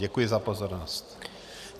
Děkuji za pozornost.